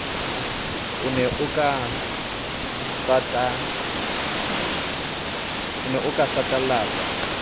o ne o ka satalatsa